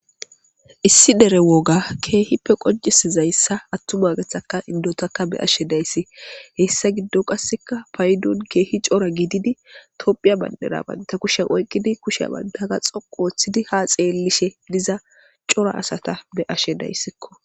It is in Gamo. Issi dere woga keehippe qoncisizayssa attuma geththaka indotaka be ashe dayssi hessa giddo qasseka paydon keehi cora giididi tophiya banderabanta kushen oyqkidi kushe bandaga xoqu ooththidi ha xeellishe diza cora asata be ashe dayssikko.